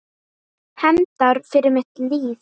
Hefndar fyrir mitt líf.